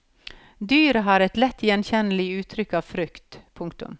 Dyret har et lett gjenkjennelig uttrykk av frykt. punktum